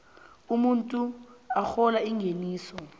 umuntu arhola ingeniso